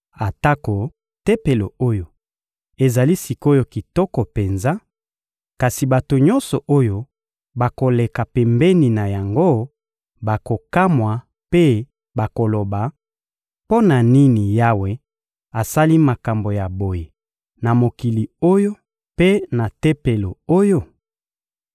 Atako Tempelo oyo ezali sik’oyo kitoko penza, kasi bato nyonso oyo bakoleka pembeni na yango bakokamwa mpe bakoloba: ‹Mpo na nini Yawe asali makambo ya boye na mokili oyo mpe na Tempelo oyo?›